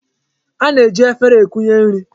A na-eji efere ekunye nri.